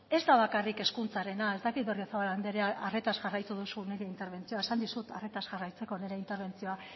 ez da bakarrik hezkuntzarena ez dakit berriozabal andrea arretaz jarraitu duzun nire interbentzioa esan dizut arretaz jarraitzeko nire interbentzioa